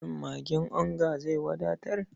Shin magin onga zai wadatar?